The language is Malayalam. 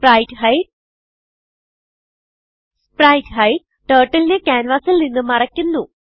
സ്പ്രൈറ്റ്ഹൈഡ് spritehideടർട്ടിൽ നെ ക്യാൻവാസിൽ നിന്ന് മറയ്ക്കുന്നു